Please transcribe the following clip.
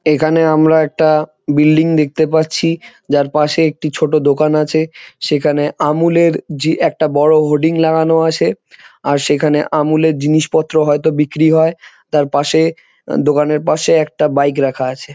এখানে আমরা একটা বিল্ডিং দেখতে পাচ্ছি যার পাশে একটি ছোট দোকান আছে সেখানে আমূল এর জি একটা বড় হোর্ডিং লাগানো আছে আর সেখানে আমূল এর জিনিসপত্র হয়তো বিক্রি হয় তার পাশে দোকানের পাশে একটা বাইক রাখা আছে।